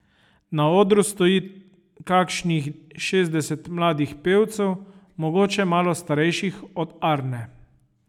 Na odru stoji kakšnih šestdeset mladih pevcev, mogoče malo starejših od Arne.